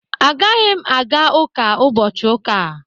Agaghị m aga ụka ụbọchị Ụka a